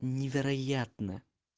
невероятно